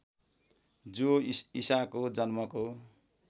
जो ईसाको जन्मको